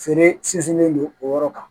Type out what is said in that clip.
Feere sinsinnen don o yɔrɔ kan